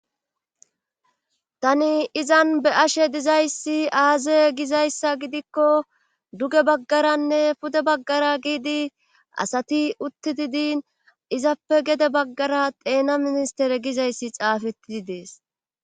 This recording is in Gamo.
Tani izan be ashe dizayssi aaze gizayssa gidikko duge baggaranne pude baggara giidi asati uttidi din izappe gede baggara deena ministere gizayssi xaafettidi dees.